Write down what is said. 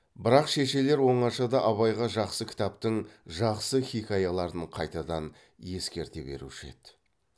бірақ шешелер оңашада абайға жақсы кітаптың жақсы хиқаяларын қайтадан ескерте беруші еді